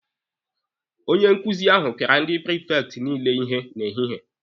Onye nkuzi ahụ pịara ndị prifekti niile ihe n'ehihie.